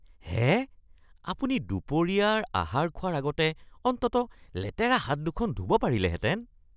হে! আপুনি দুপৰীয়াৰ আহাৰ খোৱাৰ আগতে অন্ততঃ লেতেৰা হাত দুখন ধুব পাৰিলেহেঁতেন।